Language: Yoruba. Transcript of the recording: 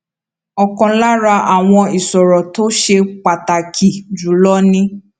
òkan lára àwọn ìṣòro tó ṣe pàtàkì jù lọ ni